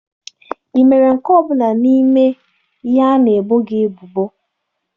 Ị mere nke ọ bụla n'ime ihe ị na-ebo ebubo?